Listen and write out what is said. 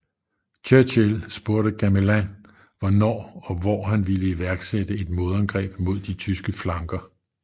Churchill spurgte Gamelin hvornår og hvor han ville iværksætte et modangreb mod de tyske flanker